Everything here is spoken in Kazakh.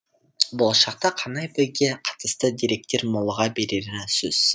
болашақта қанай биге қатысты деректер молыға берері сөзсіз